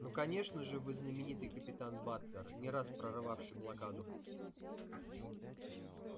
ну конечно же вы знаменитый капитан батлер не раз прорывавший блокаду